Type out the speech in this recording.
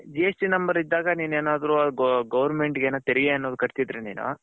GST number ಇದಾಗ ನಿನ್ ಏನಾದ್ರು ಅಲ್ಲಿಗೌರರ್ಮೆಂಟ್ ಗೆ ತೆರೆಗೆ ಏನಾದ್ರು ಕಟ್ಟಿದರೆ ನೀನು